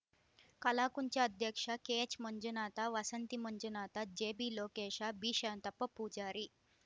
ಕಲಾಕುಂಚ ಅಧ್ಯಕ್ಷ ಕೆಎಚ್‌ಮಂಜುನಾಥ ವಸಂತಿ ಮಂಜುನಾಥ ಜಿಬಿಲೋಕೇಶ ಬಿಶಾಂತಪ್ಪ ಪೂಜಾರಿ